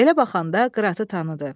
Belə baxanda Qıratı tanıdı.